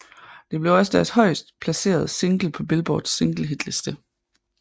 Det blev også deres højest placerede single på Billboards singlehitliste